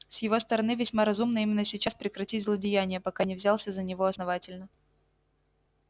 с его стороны весьма разумно именно сейчас прекратить злодеяния пока не взялся за него основательно